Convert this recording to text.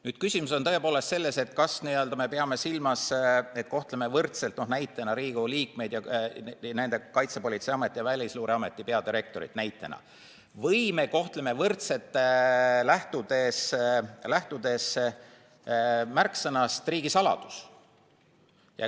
Nüüd, küsimus on tõepoolest selles, kas me peame silmas, et kohtleme võrdselt näiteks Riigikogu liikmeid ja Kaitsepolitseiameti ja Välisluureameti peadirektorit, või me kohtleme võrdselt, lähtudes märksõnast "riigisaladus".